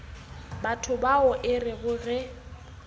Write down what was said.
batho bao e rego ge